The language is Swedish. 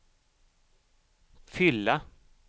fylla